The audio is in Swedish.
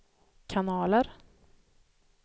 kanaler